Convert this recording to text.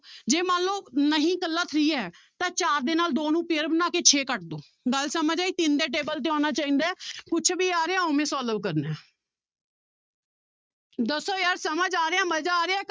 ਜੇ ਮੰਨ ਲਓ ਨਹੀਂ ਇਕੱਲਾ three ਹੈ ਤਾਂ ਚਾਰ ਦੇ ਨਾਲ ਦੋ ਨੂੰ pair ਬਣਾ ਕੇ ਛੇ ਕੱਟ ਦਓ ਗੱਲ ਸਮਝ ਆਈ ਤਿੰਨ ਦੇ table ਤੇ ਆਉਣਾ ਚਾਹੀਦਾ ਹੈ ਕੁਛ ਵੀ ਆ ਰਿਹਾ ਉਵੇਂ solve ਕਰਨਾ ਹੈ ਦੱਸੋ ਯਾਰ ਸਮਝ ਆ ਰਿਹਾ ਮਜ਼ਾ ਆ ਰਿਹਾ ਹੈ,